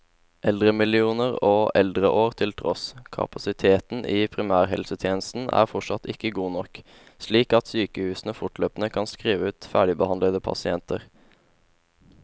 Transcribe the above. Eldremillioner og eldreår til tross, kapasiteten i primærhelsetjenesten er fortsatt ikke god nok, slik at sykehusene fortløpende kan skrive ut ferdigbehandlede pasienter.